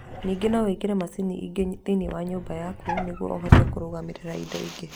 Ningĩ no wĩkĩre macini ingĩ thĩinĩ wa nyũmba yaku nĩguo ũhote kũrũgamĩrĩra indo ingĩ.